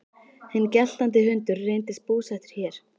Hinn geltandi hundur reynist búsettur hér.